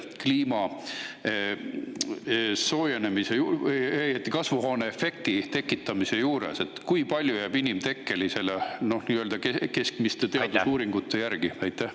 Kui palju sellest inimtekkeline osa nii-öelda keskmiste teadusuuringute järgi?